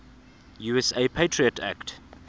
usa patriot act